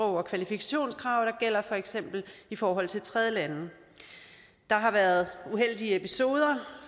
og kvalifikationskrav der gælder i forhold til tredjelande der har været uheldige episoder